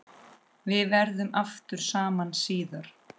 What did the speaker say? Við verðum aftur saman síðar.